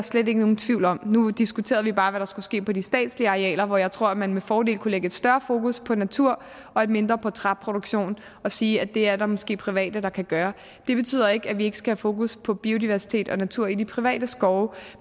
slet ikke nogen tvivl om nu diskuterede vi bare hvad der skulle ske på de statslige arealer hvor jeg tror at man med fordel kunne lægge et større fokus på natur og et mindre på træproduktion og sige at det er der måske private der kan gøre det betyder ikke at vi ikke skal have fokus på biodiversitet og natur i de private skove